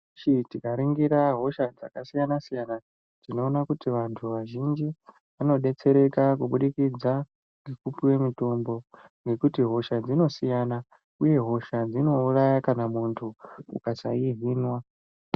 Tikaningira hosha dzakasiyana siyana tinoona kuti vantu vazhinji vanobetsereka kubudikidza nekupiwe mutombo ngekuti hosha dzinosiyana uye hosha dzinouraya kana muntu ukasayihinwa.